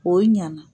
O ɲana